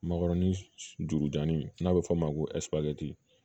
Makɔrɔni jurudani n'a bɛ fɔ o ma ko